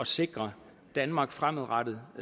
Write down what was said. sikre danmark fremadrettet